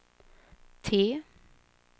T